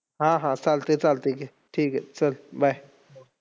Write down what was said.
पा पाण्यावर असायचो. पानी तिथच खेळायचो शेतात जायचो.